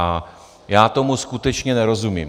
A já tomu skutečně nerozumím.